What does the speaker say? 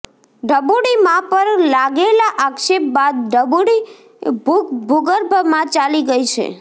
ઢબુડી મા પર લાગેલા આક્ષેપ બાદ ઢબૂડી ભુગર્ભમાં ચાલી ગઈ છે